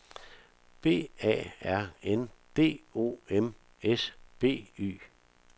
B A R N D O M S B Y